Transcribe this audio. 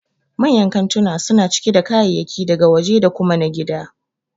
Manyan kantuna suna cike da kayayyaki daga waje da kuma na gida